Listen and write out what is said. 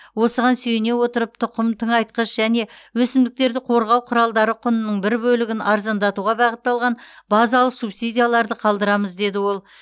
осыған сүйене отырып тұқым тыңайтқыш және өсімдіктерді қорғау құралдары құнының бір бөлігін арзандатуға бағытталған базалық субсидияларды қалдырамыз деді ол